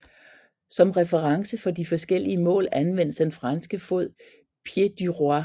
Som reference for de forskellige mål anvendtes den franske fod pied du roi